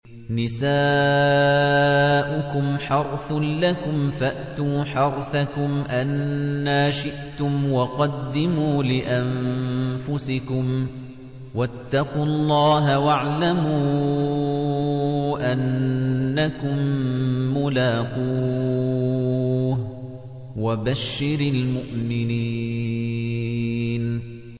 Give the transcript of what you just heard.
نِسَاؤُكُمْ حَرْثٌ لَّكُمْ فَأْتُوا حَرْثَكُمْ أَنَّىٰ شِئْتُمْ ۖ وَقَدِّمُوا لِأَنفُسِكُمْ ۚ وَاتَّقُوا اللَّهَ وَاعْلَمُوا أَنَّكُم مُّلَاقُوهُ ۗ وَبَشِّرِ الْمُؤْمِنِينَ